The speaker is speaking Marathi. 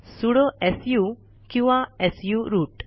सुडो सु किंवा सु रूट